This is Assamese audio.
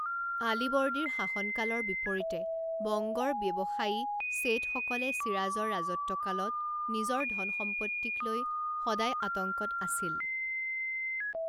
আলীবৰ্দীৰ শাসনকালৰ বিপৰীতে বংগৰ ব্যৱসায়ী শেঠসকলে ছিৰাজৰ ৰাজত্বকালত নিজৰ ধন সম্পত্তিক লৈ সদায় আতংকত আছিল।